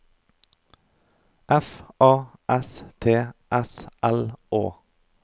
F A S T S L Å